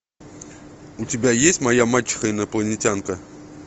у тебя есть моя мачеха инопланетянка